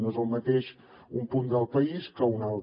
no és el mateix un punt del país que un altre